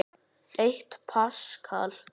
Eitt paskal